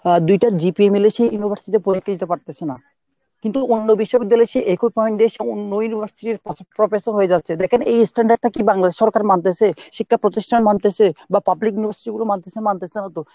আহ দুইটা GPA মিলে সে university তে পরীক্ষা দিতে পারতেছে না কিন্তু অন্য বিশ্ববিদ্যালয়ে সে একই point দিয়ে সে অন্য university এর prof~ professor হয়ে যাচ্ছে দেখেন এই standard টা কি বাংলাদেশ সরকার মানতেছে? শিক্ষা প্রতিষ্ঠান মানতেছে? বা public university গুলো মানতেছে? মানতেছে না তো।